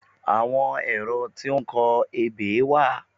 Àwọn ẹ̀rọ tí ó ń kọ ebè wà